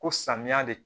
Ko samiya de